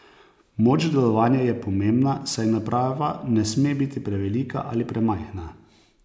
Moč delovanja je pomembna, saj naprava ne sme biti prevelika ali premajhna.